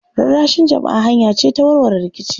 Rarrashin jama'a hanya ce ta warware rikici.